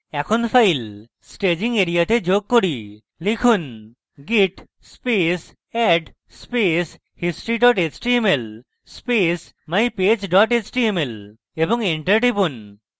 এখন files staging এরিয়াতে যোগ করি লিখুন: git space add space history html space mypage html এবং enter টিপুন